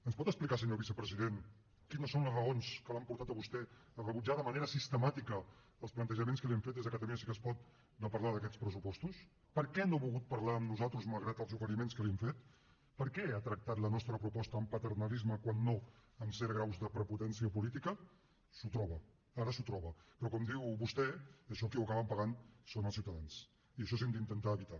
ens pot explicar senyor vicepresident quines són les raons que l’han portat a vostè a rebutjar de manera sistemàtica els plantejaments que li hem fet des de catalunya sí que es pot de parlar d’aquests pressupostos per què no ha volgut parlar amb nosaltres malgrat els oferiments que li hem fet per què ha tractat la nostra proposta amb paternalisme quan no amb certs graus de prepotència política s’ho troba ara s’ho troba però com diu vostè això qui ho acaben pagant són els ciutadans i això ho hem d’intentar evitar